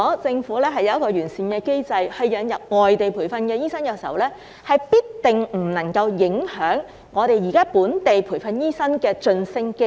政府要有一個完善機制引入外地培訓醫生，必定不能影響現時本地培訓醫生的晉升機會。